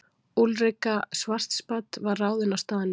Úlrika Schwartzbad var ráðin á staðnum.